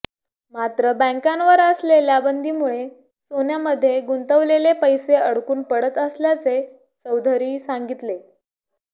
मात्र बँकांवर असलेल्या बंदीमुळे सोन्यामध्ये गुंतवलेले पैसे अडकून पडत असल्याचे चौधरी सांगितले